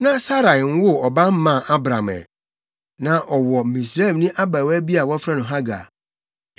Saa bere no, na Sarai nwoo ɔba mmaa Abram ɛ. Na ɔwɔ Misraimni abaawa bi a wɔfrɛ no Hagar;